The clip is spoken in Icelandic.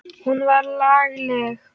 Hún var lagleg.